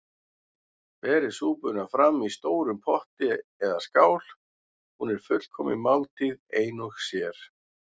Berið súpuna fram í stórum potti eða skál- hún er fullkomin máltíð ein og sér.